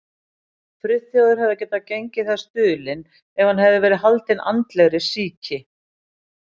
Friðþjófur hefði getað gengið þess dulinn, ef hann hefði verið haldinn andlegri sýki.